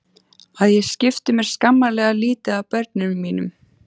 Að ég skipti mér skammarlega lítið af börnum mínum.